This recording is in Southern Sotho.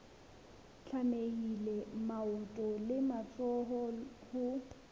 tlamehile maoto le matsoho ho